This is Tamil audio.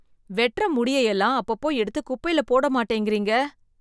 வெட்ற முடியெல்லாம் அப்பப்போ எடுத்து குப்பையில போட மாட்டேங்கிறீங்க